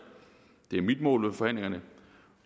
det er mit mål med forhandlingerne